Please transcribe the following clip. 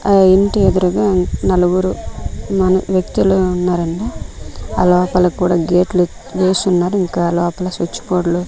ఆ ఇంటి ఎదురుగా నలుగురు మన వ్యక్తులు ఉన్నారండి అలోపల కూడా గేట్లు వేసున్నారు ఇంకా ఆ లోపల స్విచ్ బోర్డ్లు --